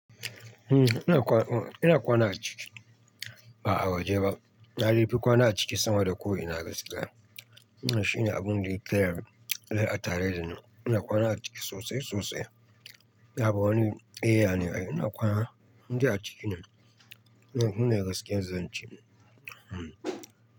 Hmm ina kwana, ina kwana a ciki? A'a, ba a waje ba. Na dai fi kwana a ciki sama da ko ina na gaskiya. Shi ne abin da ya ke a tare da ni. Ina kwana a ciki sosai sosai. Yauw bawani, eh yane ai ina kwana, indai a ciki ne. Shine gaskiyar zan ce. Hmm.